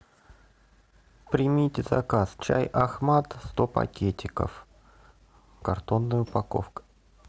примите заказ чай ахмад сто пакетиков картонная упаковка